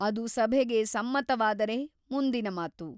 ಅದು ಸಭೆಗೆ ಸಮ್ಮತವಾದರೆ ಮುಂದಿನ ಮಾತು.